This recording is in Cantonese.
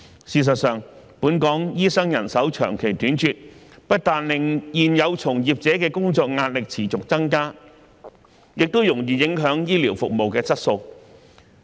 事實上，本港醫生人手長期緊絀，不但令現有從業者的工作壓力持續增加，也容易影響醫療服務質素。